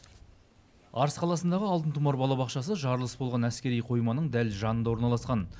арыс қаласындағы алтын тұмар балабақшасы жарылыс болған әскери қойманың дәл жанында орналасқан